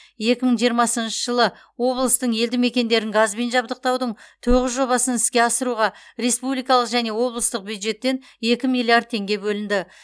екі мың жиырмасыншы жылы облыстың елді мекендерін газбен жабдықтаудың тоғыз жобасын іске асыруға республикалық және облыстық бюджеттен екі миллиард теңге бөлінді